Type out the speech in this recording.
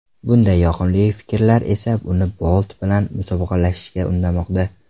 Bunday yoqimli fikrlar esa uni Bolt bilan musobaqalashishga undamoqda.